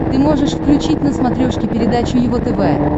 ты можешь включить на смотрешке передачу его тв